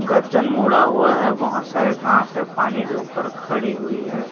गर्दन मोड़ा हुआ है बहुत सारे घाँस है पानी के ऊपर खड़ी हुई है।